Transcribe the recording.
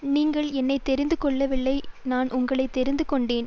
நீங்கள் என்னை தெரிந்து கொள்ளவில்லை நான் உங்களை தெரிந்துகொண்டேன்